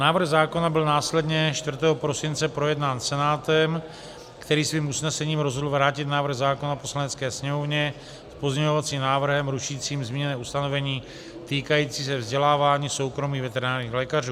Návrh zákona byl následně 4. prosince projednán Senátem, který svým usnesením rozhodl vrátit návrh zákona Poslanecké sněmovně s pozměňovacím návrhem rušícím zmíněné ustanovení týkající se vzdělávání soukromých veterinárních lékařů.